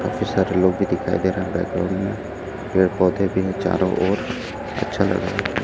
काफी सारे लोग भी दिखाई दे रहे है बैकग्राउंड में पेड़ पौधे भी है चारों ओर अच्छा लग रहा--